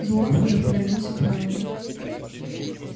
зуав уже повернулся к мелани